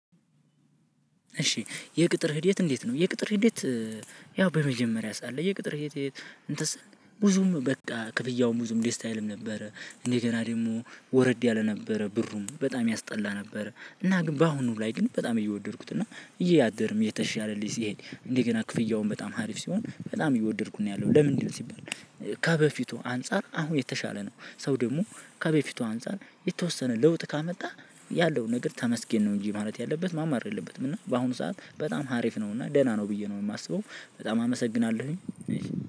እሺ የቅጥር ሂደት እንዴት ነው? የቅጥር ሂደት። ያው በመጀመሪያ ሰዓት ላይየቅጥር እንትን ብዙም በቃ ክፍያው ብዙም ደስ አይልም ነበረ እንደገና ደግሞ ወረድ ያለ ነበረ ብሩም በጣም ያስጠላ ነበረ። እና ግን በአሁኑ ላይ ግን በጣም እየወደድኩት እና እያደርም እየተሻለ ልጅ ስሄድ እንደገና ክፍያውን በጣም ሀሪፍ ሲሆን በጣም እየወደድኩኝ ነው ያለሁት። ለምንድነው ሲባል። ከበፊቱ አንፃር አሁን የተሻለ ነው። ሰው ደግሞ ከበፊቷ አንፃር የተወሰነ ለውጥ ካመጣ ያለውን ነገር ተመስገን ነው። እንጂ ማለት ያለበት ማማረር የለበትም። እና በአሁኑ ሰዓት በጣም ሀሪፍ ነው እና ደህና ነው ብዬ ነው የማስበው። በጣም አመሰግናለሁኝ።